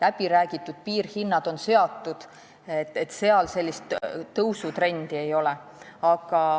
Need on tegelikult inimestele kättesaadavad ja seal mingit tõusutrendi ei ole.